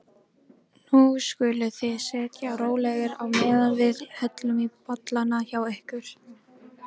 Hins vegar hafa ýmsar tilraunir verið gerðar með breytingar á líkamsfrumum.